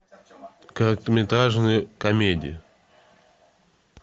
короткометражные комедии